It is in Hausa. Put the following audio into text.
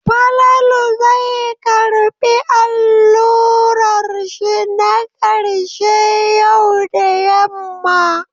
Falalu zai karɓi allurar shi na ƙarshe yau da yamma.